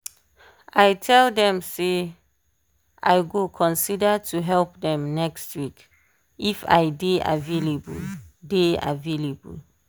i tell dem say i go consider to help dem next week if i dey avaialble dey avaialble.